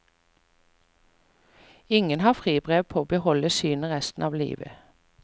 Ingen har fribrev på å beholde synet resten av livet.